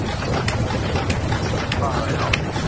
Ég hef ekkert hugsað um að fara í ár.